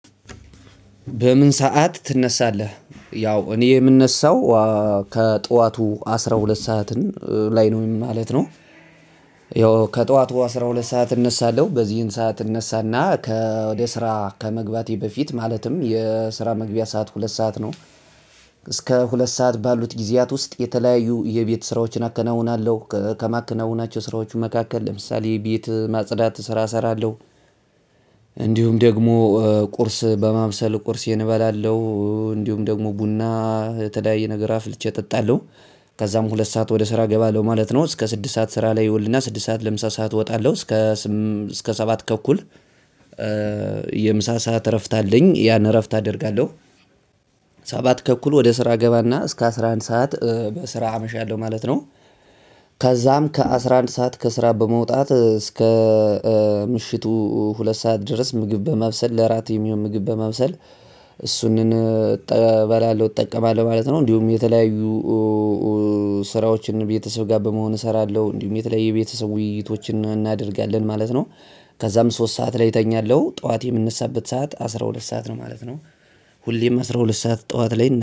በምን ሰዓት ትነሳለህ? ያው እኔ የምነሳው ከጠዋቱ አስራ ሁለት ሰዓትን ላይ ነው ማለት ነው። ያው ከጠዋቱ አስራ ሁለት ሰዓት እነሳለሁ በዚህን ሰዓት እነሳና ከወደ ስራ ከመግባቴ በፊት ማለትም የስራ መግቢያ ሰዓት ሁለት ሰዓት ነው። እስከ ሁለት ሰዓት ባሉት ጊዜያት ውስጥ የተለያዩ የቤት ስራዎችን አከናውናለሁ ከማከናውናቸው ስራዎቹ መካከል ለምሳሌ ቤት ማጽዳት ስራ እሰራለሁ። እንዲሁም ደግሞ ቁርስ በማብሰል ቁርሴን እበላለሁ እንዲሁም ደግሞ ቡና የተለያየ ነገር አፍልቼ እጠጣለሁ። ከዛም ሁለት ሰዓት ወደ ስራ እገባለሁ ማለት ነው እስከ ስድስት ሰዓት ስራ ላይ እውልና ስድስት ሰዓት ለምሳ ሰዓት እወጣለሁ። እስከ እስከ ሰባት ተኩል የምሳ ሰዓት እረፍት አለኝ ያን እረፍት አደርጋለሁ። ሰባት ተኩል ወደ ስራ እገባና እስከ አስራ አንድ ሰዓት በስራ አመሻለሁ ማለት ነው። ከዛም ከአስራ አንድ ሰዓት ከስራ በመውጣት እስከ እስከ ምሽቱ ሁለት ስዓት ድረስ ምግብ በማብሰል ለእራት የሚሆን በማብሰል። እሱንን እጠ እበላለሁ እጠቀማለሁ ማለት ነው እንዲሁም የተለያዩ ስራዎችን ቤተሰብ ጋር በመሆን እሰራለሁ እንዲሁም የተለያዩ የቤተሰብ ውይይቶችን እናደርጋለን ማለት ነው። ከዛም ሶስት ሰዓት ላይ እተኛለሁ ጠዋት የምንነሳበት ሰዓት አስራ ሁለት ሰዓት ነው ማለት ነው። ሁሌም አስራ ሁለት ሰዓት ጠዋት ላይ